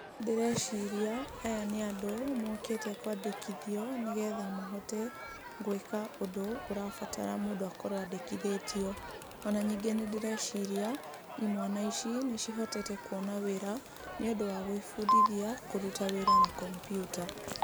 Ndĩreciria aya nĩ andũ mokĩte kwandĩkithio, nĩgetha mahote gũĩka ũndũ ũrabatara mũndũ akorwo andĩkithĩtio. Ona ningĩ nĩndĩreciria imwana ici nĩcihotete kuona wĩra, nĩũndũ wa gũĩbundithia kũruta wĩra na kompiuta.